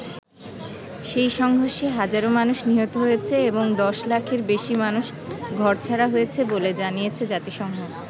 সেই সংঘর্ষে হাজারও মানুষ নিহত হয়েছে এবং দশ লাখের বেশি মানুষ ঘরছাড়া হয়েছে বলে জানিয়েছে জাতিসংঘ।